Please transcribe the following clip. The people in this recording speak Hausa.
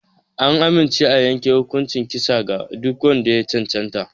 An amince a yanke hukuncin kisa ga duk wanda ya cancanta.